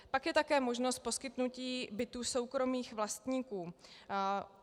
Pak je také možnost poskytnutí bytů soukromých vlastníků.